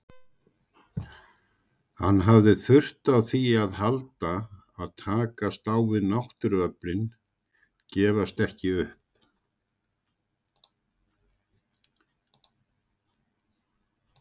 Hann hafði þurft á því að halda að takast á við náttúruöflin, gefast ekki upp.